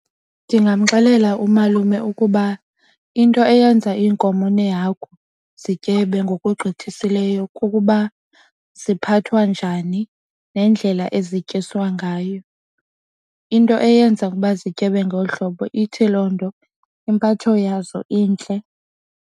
Ndingamxelela umalume ukuba into eyenza iinkomo nehagu zityebe ngokugqithisileyo kukuba ziphathwa njani nendlela ezityiswa ngayo. Into eyenza ukuba zityebe ngolu hlobo ithi loo nto impatho yazo intle.